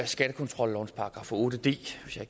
skattekontrollovens § otte d